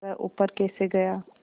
वह ऊपर कैसे गया